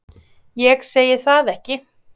Ég segi það ekki.